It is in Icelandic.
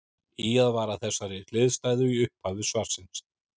Ýjað var að þessari hliðstæðu í upphafi svarsins.